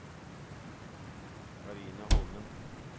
Karine Holmen